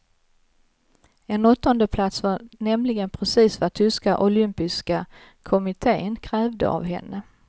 En åttonde plats var nämligen precis vad tyska olympiska kommittén krävde av henne.